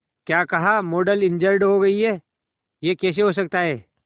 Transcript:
क्या कहा model injured हो गई है यह कैसे हो सकता है